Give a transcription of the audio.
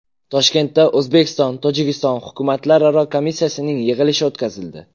Toshkentda O‘zbekistonTojikiston hukumatlararo komissiyasining yig‘ilishi o‘tkazildi.